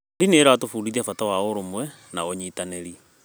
Ndini ĩratũbundithia bata wa ũrũmwe na ũnyitanĩri.